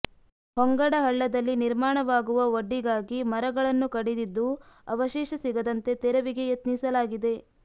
ಹೊಂಗಡಹಳ್ಳದಲ್ಲಿ ನಿರ್ಮಾಣವಾಗುವ ಒಡ್ಡಿಗಾಗಿ ಮರಗಳನ್ನು ಕಡಿದಿದ್ದು ಅವಶೇಷ ಸಿಗದಂತೆ ತೆರವಿಗೆ ಯತ್ನಿಸಲಾಗಿದೆ